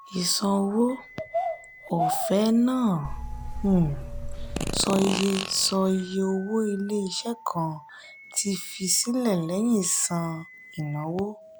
ìṣàn owó ọ̀fẹ́ náà um sọ iye sọ iye owó ilé-iṣẹ́ kan ti fi sílẹ̀ lẹ́yìn san ìnáwó.